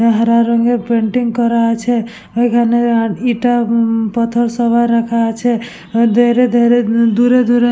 হারা রঙের পেইন্টিং করা আছে ওইখানে আর ইটা ই পথরসভা রাখা আছে ধেইরে ধেইরে দূরে দূরে ।